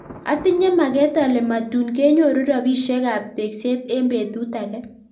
Atinye maket ale matun kenyoru robishek ab tekset eng betut ake.